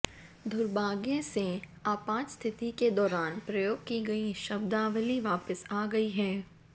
दुर्भाग्य से आपात स्थिति के दौरान प्रयोग की गई शब्दावली वापस आ गई है